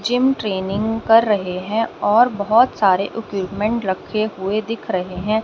Gym training कर रहे हैं और बहोत सारे इकुपमेंट रखे हुए हैं।